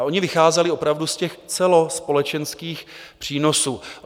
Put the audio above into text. A oni vycházeli opravdu z těch celospolečenských přínosů.